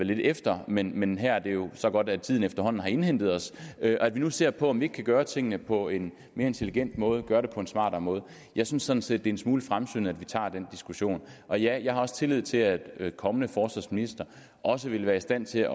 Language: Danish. lidt efter men men her er det jo så godt at tiden efterhånden har indhentet os og at vi nu ser på om vi kan gøre tingene på en mere intelligent måde gøre det på en smartere måde jeg synes sådan set det en smule fremsynet at vi tager den diskussion og ja jeg har også tillid til at kommende forsvarsministre også vil være i stand til